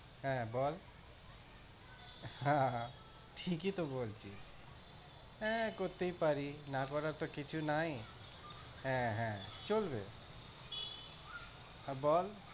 হ্যাঁ বল। আহ ঠিকই তো বলছি, এএ করতেই পারি না করার তো কিছু নাই। হ্যাঁ হ্যাঁ, চলবে হ্যাঁ বল।